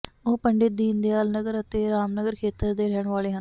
ਉਹ ਪੰਡਿਤ ਦੀਨਦਿਆਲਨਗਰ ਅਤੇ ਰਾਮਨਗਰ ਖੇਤਰ ਦੇ ਰਹਿਣ ਵਾਲੇ ਹਨ